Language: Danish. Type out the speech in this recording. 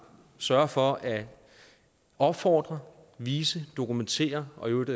sørge for at opfordre vise dokumentere og i øvrigt